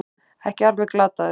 Ekki alveg glataður